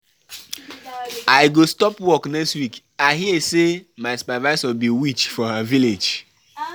I go stop work next week, I hear say my supervisor be witch for her village.